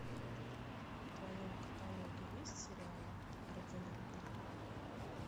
в твоем каталоге есть сериал ординатор